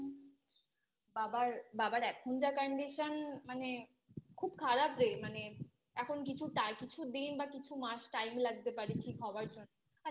বাবার এখন যা Condition খুব খারাপ রে মানে এখন কিছুটা মানে কিছু দিন কিছু মাস Time লাগতে পারে ঠিক হবার জন্য